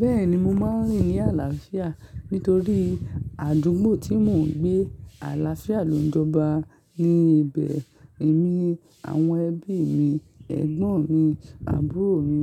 Bẹ́ẹ̀ni mo máa ń rìn ní àlàáfíà nítorí àdúgbò tí mò ń gbé àlàáfíà ló ń jọba ní ibẹ̀. Èmi, àwọn ẹbí mi, ẹ̀gbọ́n mi, àbúrò mi,